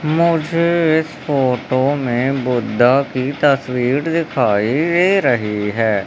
मुझे इस फोटो में बुद्धा की तस्वीर दिखाई दे रही है।